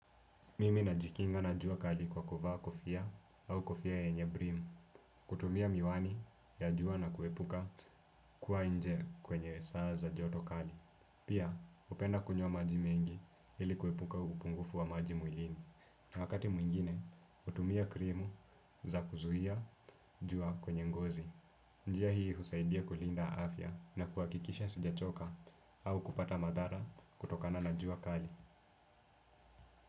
Mimi najikinga na jua kali kwa kofia au kofia yenye brim. Kutumia miwani ya jua na kuepuka kuwa nje kwenye saa za joto kali. Pia hupenda kunywa maji mengi ili kuepuka upungufu wa maji mwilini. Na wakati mwingine, hutumia krimu za kuzuia jua kwenye ngozi. Njia hii husaidia kulinda afya na kuhakikisha sijachoka au kupata madhara kutokana na jua kali.